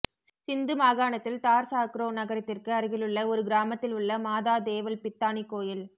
சிந்து மாகாணத்தில் தார் சாக்ரோ நகரத்திற்கு அருகிலுள்ள ஒரு கிராமத்தில் உள்ள மாதா தேவல் பித்தானி கோயில்